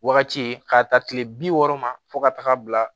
Wagati ye k'a ta tile bi wɔɔrɔ ma fo ka taga bila